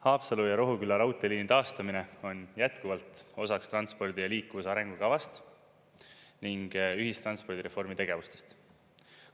Haapsalu ja Rohuküla raudteeliini taastamine on jätkuvalt osaks transpordi ja liikuvuse arengukavast ning ühistranspordireformi tegevustest.